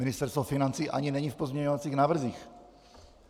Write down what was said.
Ministerstvo financí ani není v pozměňovacích návrzích.